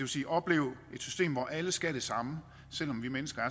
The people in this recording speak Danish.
sige at opleve et system hvor alle skal det samme selv om vi mennesker